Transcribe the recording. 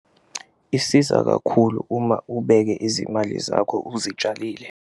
Isiza kakhulu uma ubeke izimali zakho uzitshalile.